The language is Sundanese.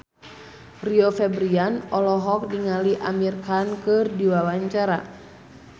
Rio Febrian olohok ningali Amir Khan keur diwawancara